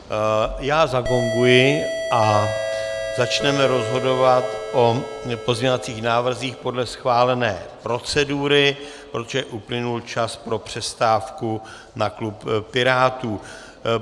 Já zagonguji a začneme rozhodovat o pozměňovacích návrzích podle schválené procedury, protože uplynul čas pro přestávku na klub Pirátů.